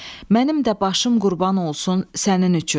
Mənim də başım qurban olsun sənin üçün.